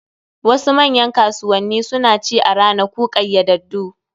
Wasu manyan kasuwanni suna ci a ranaku ƙayyadaddu